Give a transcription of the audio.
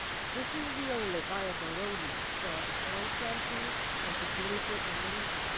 This is the only viable roadmap for long term peace and security in the region.